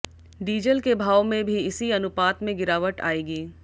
diesel के भाव में भी इसी अनुपात में गिरावट आएगी